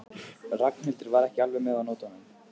Ragnhildur var ekki alveg með á nótunum.